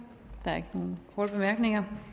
der er ikke nogen korte bemærkninger